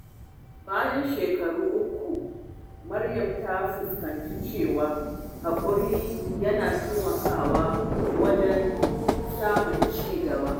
Bayan shekaru uku, Maryam ta fahimci cewa haƙuri yana taimakawa wajen samun ci gaba.